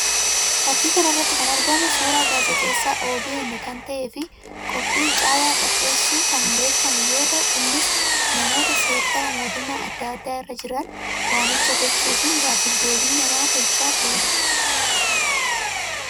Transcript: Fakkii kana irratti kan argamu suuraa gaazixeessaa OBN kan ta'ee fi qophii caayaa qopheessuun kan beekamu yoo ta'u; innis namoota seektara mootummaa addaa addaa irra jiran waamicha gochuufiin gaaffii deebii nama tolchaa turee dha